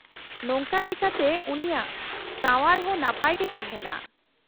-ᱱᱚᱝᱠᱟ ᱞᱮᱠᱟᱛᱮ ᱩᱱᱤᱭᱟᱜ ᱥᱟᱶᱟᱨ ᱦᱚᱸ ᱱᱟᱯᱟᱭ ᱜᱮ ᱛᱟᱦᱮᱸᱱᱟ ᱾